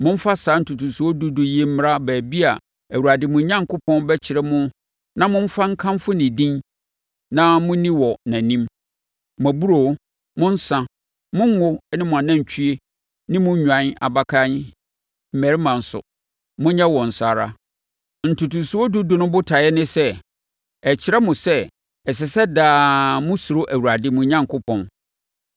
Momfa saa ntotosoɔ dudu yi mmra baabi a Awurade, mo Onyankopɔn, bɛkyerɛ mo na momfa nkamfo ne din na monni wɔ nʼanim. Mo aburoo, mo nsa, mo ngo ne mo anantwie ne mo nnwan abakan mmarima nso, monyɛ wɔn saa ara. Ntotosoɔ dudu no botaeɛ ne sɛ, ɛkyerɛ mo sɛ, ɛsɛ sɛ daa mosuro Awurade, mo Onyankopɔn.